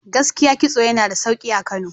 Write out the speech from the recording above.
Gaskiya kitso yana da sauki a Kano.